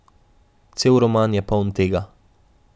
Cel roman je poln tega.